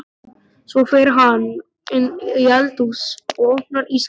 Svo fer hann inn í eldhús og opnar ísskápinn.